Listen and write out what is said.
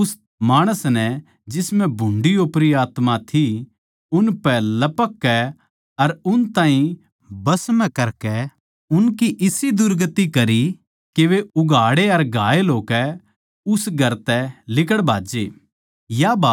अर उस माणस नै जिसम्ह भुंडी ओपरी आत्मा थी उनपै लपककै अर उन ताहीं बस म्ह ल्याकै उनपै इसा दुर्गति मचाया के वे उघाड़े अर घायल होकै उस घर तै लिकड़ भाज्जे